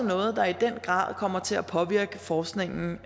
noget der i den grad kommer til at påvirke forskningen